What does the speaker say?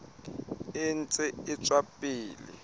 e ntse e tswela pele